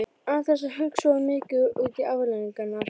Án þess að hugsa of mikið út í afleiðingarnar.